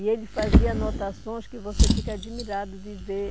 E ele fazia anotações que você fica admirado de ver.